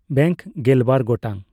bank ᱜᱮᱞᱵᱟᱨ ᱜᱚᱴᱟᱝ